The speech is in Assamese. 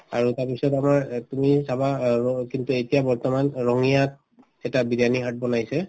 আৰু তাৰপিছত আমাৰ অ তুমি চাবা অ কিন্তু এতিয়া বৰ্তমান ৰঙিয়াত এটা বিৰিয়ানি hut বনাইছে